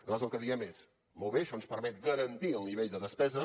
nosaltres el que diem és molt bé això ens permet garantir el nivell de despesa